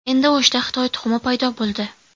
Endi O‘shda Xitoy tuxumi paydo bo‘ldi.